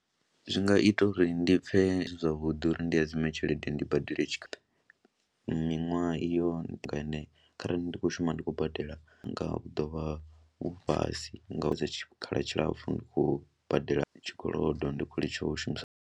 Zwi nga ita uri ndi pfhe ndi zwavhuḓi uri ndi hadzime tshelede ndi badele tshikolodo miṅwaha iyo ine kharali ndi khou shuma ndi khou badela nga u ḓo vha vhu fhasi nga u dza tshikhala tshilapfhu ndi khou badela tshikolodo ndi khou litsha u shumisa.